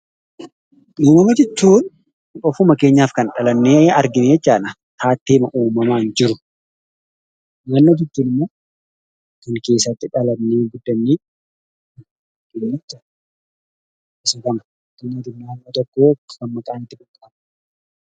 Uumama jechuun ofuma keenyaa dhalannee kan argine jechuu dha. Naannoo jechuun immoo kan keessatti dhalannee guddannee jechuu dha.